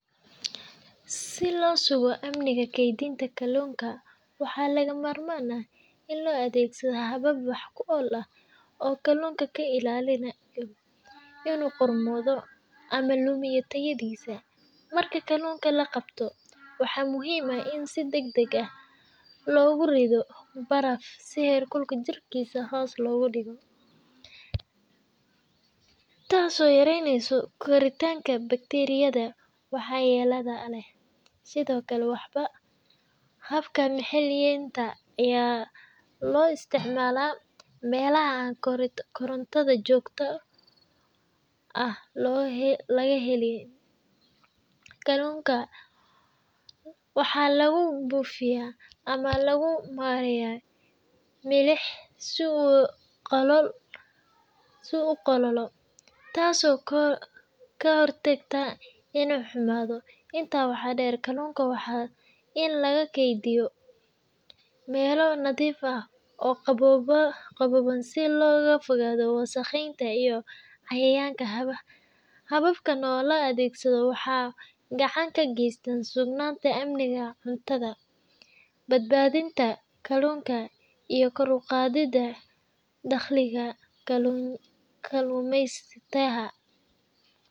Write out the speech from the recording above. Si loo sugo amniga keydinta kalluunka, waxaa lagama maarmaan ah in la adeegsado habab wax ku ool ah oo kalluunka ka ilaaliya inuu qarmoodo ama lumiyo tayadiisa. Marka kalluunka la qabto, waxaa muhiim ah in si degdeg ah loogu rido baraf si heerkulka jirkiisa hoos loogu dhigo, taasoo yareyneysa koritaanka bakteeriyada waxyeellada leh. Sidoo kale, habka milixeynta ayaa loo isticmaalaa meelaha aan koronto joogto ah laga helin; kalluunka waxaa lagu buufiyaa ama lagu mariyaa milix si uu u qalalo, taasoo ka hortagta inuu xumaado. Intaa waxaa dheer, kalluunka waa in lagu keydiyaa meelo nadiif ah oo daboolan si looga fogaado wasakheynta iyo cayayaanka. Hababkan oo la adeegsado waxay gacan ka geystaan sugnaanta amniga cuntada, badbaadinta kalluunka, iyo kor u qaadidda dakhliga kalluumaysatada.